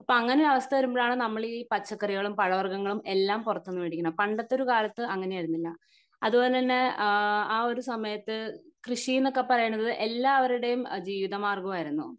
അപ്പൊ അങ്ങിനെ ഒരു അവസ്ഥ വരുമ്പോഴാണ് നമ്മളീ പച്ചക്കറികളും പഴവർഗങ്ങളും എല്ലാം പൊർത്തുന്ന് വേടിക്കുന്നത് പണ്ടത്തെ ഒരു കാലത്ത് അങ്ങനെയായിരുന്നില്ല അതുപോലെതന്നെ ആഹ് ആ ഒരു സമയത്ത് കൃഷിനൊക്കെ പറയുന്നത് എല്ലാവരുടെയും ജീവിത മാർഗം ആയിരുന്നു